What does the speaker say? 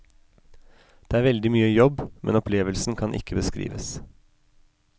Det er veldig mye jobb, men opplevelsen kan ikke beskrives.